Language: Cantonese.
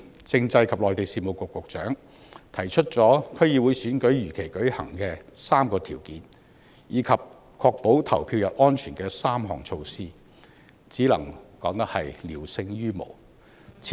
政制及內地事務局局長日前提出了區議會選舉如期舉行的3個條件，以及確保投票日安全的3項措施，只能說是聊勝於無。